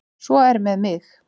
Svo er með mig.